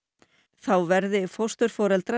þá verði fósturforeldrar